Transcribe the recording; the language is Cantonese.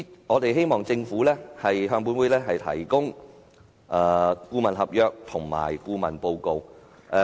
我們希望政府向本會提交有關的顧問合約及顧問報告。